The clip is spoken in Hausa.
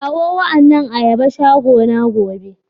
Kawo wa annan ayaba shagona gobe.